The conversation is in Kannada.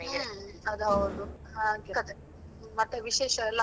ಹ್ಮ್ ಅದೌದು ಹಾಗೆ ಕಥೆ. ಮತ್ತೆ ವಿಶೇಷ ಎಲ್ಲ?